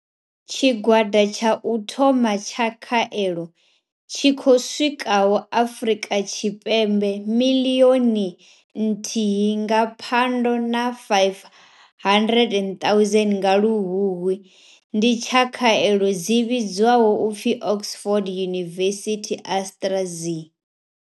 Tshigwada tsha u thoma tsha khaelo tshi khou swikaho Afrika Tshipembe miḽioni nthihi nga Phando na 500 000 nga Luhuhi, ndi tsha khaelo dzi vhidzwaho u pfi Oxford University AstraZe.